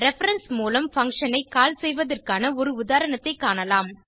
reference மூலம் function ஐ call செய்வதற்கான ஒரு உதாரணத்தைக் காணலாம்